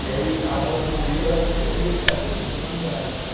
E aí a moda do momento era, você só podia ficar, você não podia namorar e tal.